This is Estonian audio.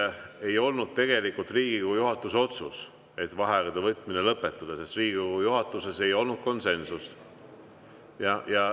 See ei olnud tegelikult Riigikogu juhatuse otsus, et vaheaegade võtmine lõpetada, sest Riigikogu juhatuses ei olnud konsensust.